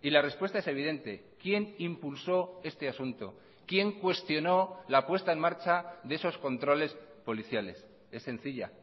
y la respuesta es evidente quién impulsó este asunto quién cuestionó la puesta en marcha de esos controles policiales es sencilla